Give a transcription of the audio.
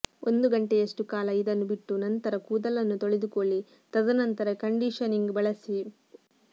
ಒಂದು ಗಂಟೆಯಷ್ಟು ಕಾಲ ಇದನ್ನು ಬಿಟ್ಟು ನಂತರ ಕೂದಲನ್ನು ತೊಳೆದುಕೊಳ್ಳಿ ತದನಂತರ ಕಂಡೀಷನಿಂಗ್ ಬಳಸಿ